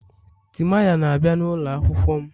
Timaya na-abịa n'ụlọ akwụkwọ m